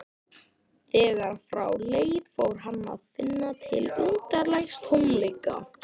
Þegar frá leið fór hann að finna til undarlegs tómleika.